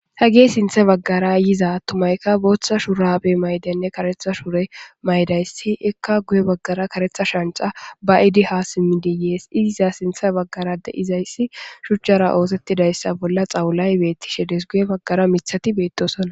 Haggey sinththa baggara yiiza attumay booththa shurabbe mayidine kareththa suura mayidayssi issi ikka guyera kareththa shancca baidi ha simidi yesi i yiiza sinththa baggara dizayssi shuchchara oththetidayssa bollan xawullay betishe dessiko guye baggara miththay bettossona.